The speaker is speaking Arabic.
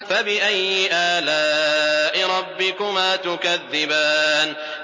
فَبِأَيِّ آلَاءِ رَبِّكُمَا تُكَذِّبَانِ